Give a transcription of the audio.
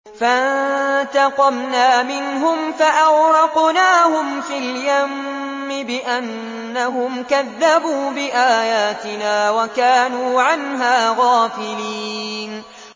فَانتَقَمْنَا مِنْهُمْ فَأَغْرَقْنَاهُمْ فِي الْيَمِّ بِأَنَّهُمْ كَذَّبُوا بِآيَاتِنَا وَكَانُوا عَنْهَا غَافِلِينَ